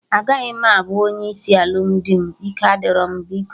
Agaghị m abụ onye isi na alụmdi m, ike adịro m biko